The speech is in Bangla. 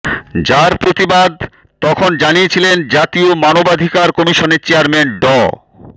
যার প্রতিবাদ তখন জানিয়েছিলেন জাতীয় মানবাধিকার কমিশনের চেয়ারম্যান ড